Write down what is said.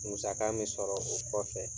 Musaka min sɔrɔ o kɔfɛ,